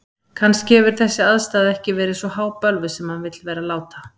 Kannski hefur þessi aðstaða ekki verið svo hábölvuð sem hann vill vera láta.